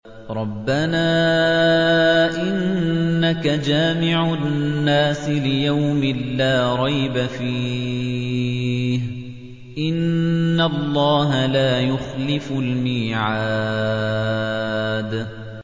رَبَّنَا إِنَّكَ جَامِعُ النَّاسِ لِيَوْمٍ لَّا رَيْبَ فِيهِ ۚ إِنَّ اللَّهَ لَا يُخْلِفُ الْمِيعَادَ